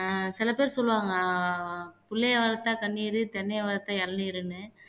அஹ் சில பேர் சொல்லுவாங்க புள்ளையை வளர்த்த கண்ணீரு தென்னையை வளர்த்த இளநீருன்னு